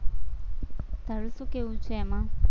તારું શું કેવું છે એમાં?